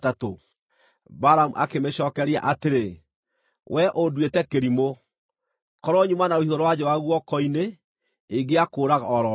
Balamu akĩmĩcookeria atĩrĩ, “Wee ũnduĩte kĩrimũ! Korwo nyuma na rũhiũ rwa njora guoko-inĩ, ingĩakũraga o ro rĩu.”